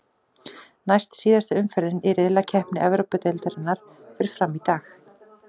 Næst síðasta umferðin í riðlakeppni Evrópudeildarinnar fer fram í dag.